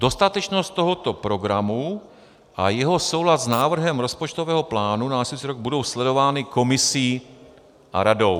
Dostatečnost tohoto programu a jeho soulad s návrhem rozpočtového plánu na následující rok budou sledovány Komisí a Radou.